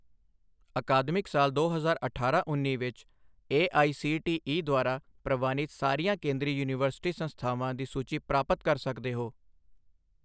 ਅਕਾਦਮਿਕ ਸਾਲ ਦੋ ਹਜ਼ਾਰ ਅਠਾਰਾਂ ਉੱਨੀ ਵਿੱਚ A I C T E ਦੁਆਰਾ ਪ੍ਰਵਾਨਿਤ ਸਾਰੀਆਂ ਕੇਂਦਰੀ ਯੂਨੀਵਰਸਿਟੀ ਸੰਸਥਾਵਾਂ ਦੀ ਸੂਚੀ ਪ੍ਰਾਪਤ ਕਰ ਸਕਦੇ ਹੋ